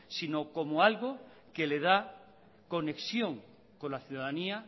sino como algo que le da conexión con la ciudadanía